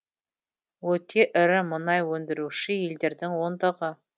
өте ірі мұнай өндіруші елдердің ондығы